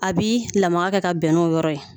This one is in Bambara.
Abi lamaga kɛ ka bɛn n'o yɔrɔ ye